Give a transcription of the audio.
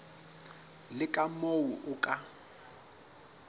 le ka moo o ka